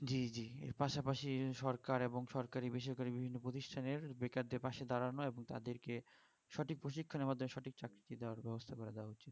জি জি এর পাশাপাশি সরকার এবং সরকারী বেসরকারী বিভিন্ন প্রতিষ্টানের বেকারদের পশে দাঁড়ানো এবং তাদেরকে সঠিক প্রশিক্ষণের মাধ্যমে সঠিক চাকরি দেওয়ার ব্যবস্থা করে দেওয়া